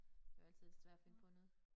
Det jo altid svært at finde på noget